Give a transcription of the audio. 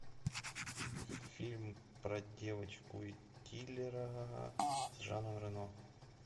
фильм про девочку и киллера с жаном рено